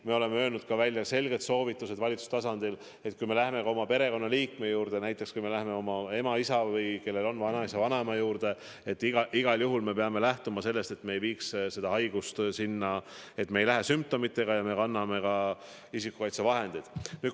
Me oleme öelnud välja selged soovitused valitsuse tasandil, et kui me läheme ka oma perekonnaliikme juurde, näiteks kui me läheme oma ema, isa või, kellel on, vanaisa-vanaema juurde, siis igal juhul me peame lähtuma sellest, et me ei viiks haigust sinna, et me ei läheks nende juurde sümptomitega ja kannaksime isikukaitsevahendit.